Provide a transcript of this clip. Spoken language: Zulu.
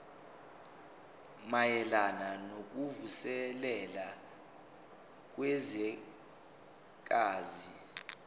mayelana nokuvuselela kwezwekazi